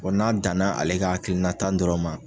n'a danna ale ka hakilina ta dɔrɔn ma.